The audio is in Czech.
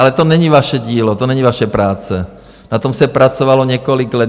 Ale to není vaše dílo, to není vaše práce, na tom se pracovalo několik let.